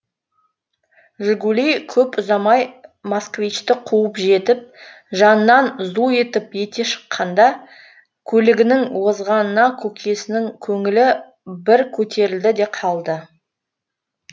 жигули көп ұзамай москвичті қуып жетіп жанынан зу етіп өте шыққанда көлігінің озғанына көкесінің көңілі бір көтерілді де қалды